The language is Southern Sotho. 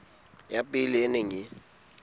ya pele e neng e